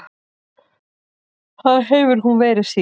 Það hefur hún verið síðan.